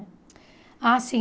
Ah, sim.